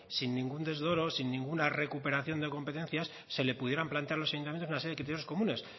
sin ningún desdoro sin ninguna recuperación de competencias se le pudieran plantear a los ayuntamientos una serie de criterios comunes